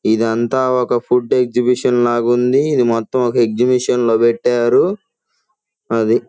ఇదంతా ఒక food exhibition లాగా ఉంది ఇది ఎక్సిబిషన్ లో పెట్టారు అది--